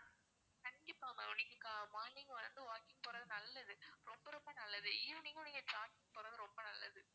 கண்டிப்பா ma'am நீங்க morning வந்து walking போறது நல்லது ரொம்ப ரொம்ப நல்லது evening உம் நீங்க jogging போறது ரொம்ப நல்லது